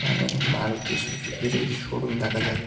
উম মারুতি সুজুকির এই শোরুম দেখা যাচ্ছ--